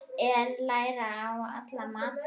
Er læri í alla mata?